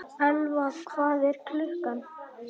Elfa, hvað er klukkan?